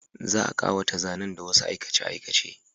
Za a ƙawata zanen da wasu aikace-aikace